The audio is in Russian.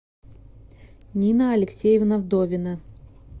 нина алексеевна вдовина